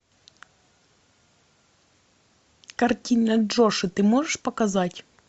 картина джошуа ты можешь показать